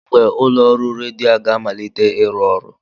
Kedụ mgbe ụlọ ọrụ redio a ga-amalite ịrụ ọrụ?